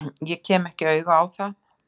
Ég kem ekki auga á það.